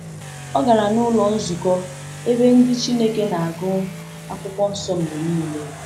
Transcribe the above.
O gara n’ụlọ nzukọ, ebe ndị Chineke na-agụ Akwụkwọ Nsọ mgbe niile.